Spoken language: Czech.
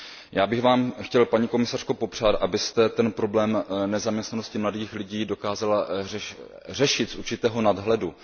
Já bych Vám chtěl paní komisařko popřát, abyste ten problém nezaměstnanosti mladých lidí dokázala řešit z určitého nadhledu.